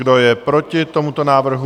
Kdo je proti tomuto návrhu?